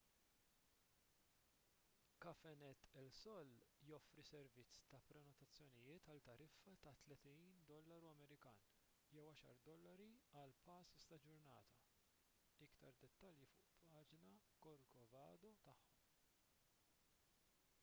cafenet el sol joffri servizz ta’ prenotazzjonijiet għal tariffa ta’ us$30 jew $10 għal passes ta’ ġurnata; iktar dettalji fuq il-paġna corcovado tagħhom